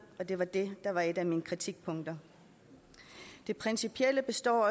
og det var det der var et af mine kritikpunkter det principielle består